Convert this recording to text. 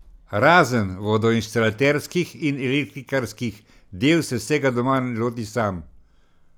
Razen vodoinštalaterskih in elektrikarskih del se vsega doma loti sam.